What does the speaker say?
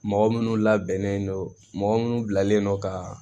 Mɔgɔ minnu labɛnnen don mɔgɔ minnu bilalen don ka